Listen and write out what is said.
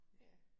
Ja